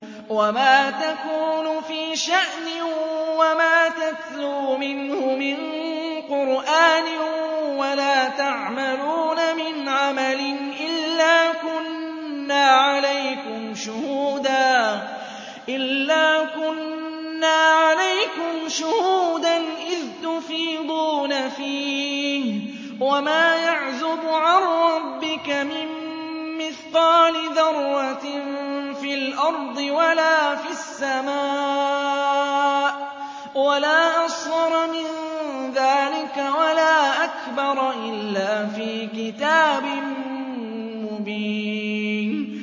وَمَا تَكُونُ فِي شَأْنٍ وَمَا تَتْلُو مِنْهُ مِن قُرْآنٍ وَلَا تَعْمَلُونَ مِنْ عَمَلٍ إِلَّا كُنَّا عَلَيْكُمْ شُهُودًا إِذْ تُفِيضُونَ فِيهِ ۚ وَمَا يَعْزُبُ عَن رَّبِّكَ مِن مِّثْقَالِ ذَرَّةٍ فِي الْأَرْضِ وَلَا فِي السَّمَاءِ وَلَا أَصْغَرَ مِن ذَٰلِكَ وَلَا أَكْبَرَ إِلَّا فِي كِتَابٍ مُّبِينٍ